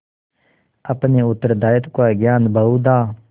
अपने उत्तरदायित्व का ज्ञान बहुधा